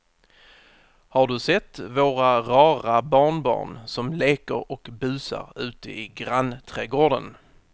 Har du sett våra rara barnbarn som leker och busar ute i grannträdgården!